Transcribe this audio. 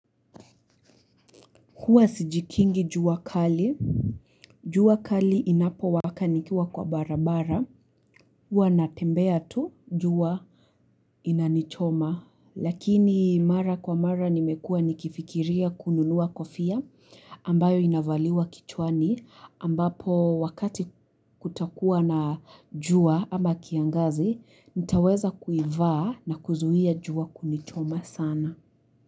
Huwa sijikingi juwa kali. Jua kali inapo wakanikiwa kwa barabara. Huwa natembea tu jua inanichoma. Lakini mara kwa mara nimekua nikifikiria kununua kofia ambayo inavaliwa kichwani ambapo wakati kutakuwa na juwa ama kiangazi nitaweza kuivaa na kuzuia jua kunichoma sana.